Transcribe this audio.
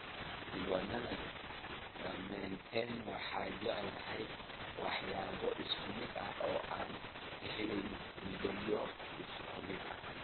Nasiib wanaag dhammaanteen waxaan jecelnahay waxyaabo isku mid ah oo aan ka helnay midabyo isku mid ah.